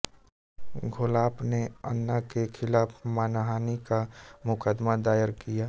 घोलाप ने अन्ना के खिलाफ़ मानहानि का मुकदमा दायर दिया